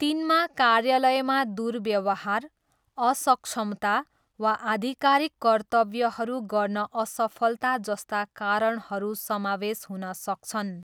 तिनमा कार्यालयमा दुर्व्यवहार, असक्षमता, वा आधिकारिक कर्तव्यहरू गर्न असफलता जस्ता कारणहरू समावेश हुन सक्छन्।